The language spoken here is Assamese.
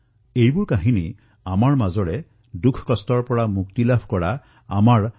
এই কাহিনীসমূহ হল জীৱন্ত মানুহৰ দুখবেদনাৰ পৰা মুক্ত আমাৰ পৰিয়ালৰ কাহিনী